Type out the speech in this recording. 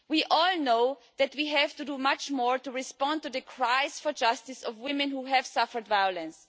We all know that we have to do much more to respond to the cries for justice of women who have suffered violence.